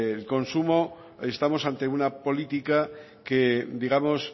el consumo estamos ante una política que digamos